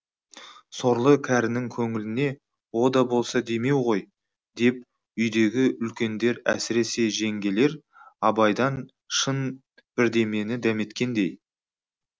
сорлы кәрінің көңліне о да болса демеу ғой деп үйдегі үлкендер әсіресе жеңгелер абайдан шын бірдемені дәметкендей